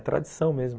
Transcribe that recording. É tradição mesmo.